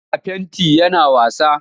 Yana fenti yana wasa.